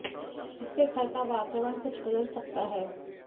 इससे घर का वातावरण कुछ बदल सकता है